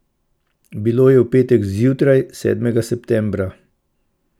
Bilo je v petek zjutraj, sedmega septembra.